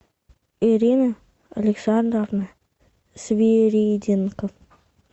ирина александровна свириденко